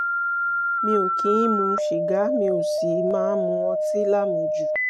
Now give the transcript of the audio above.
mi ò kì í mu sìgá mi ò sì máa mu ọtí lámujù